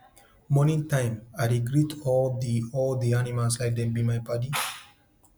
morning time i dey greet all di all di animals like dem be my padi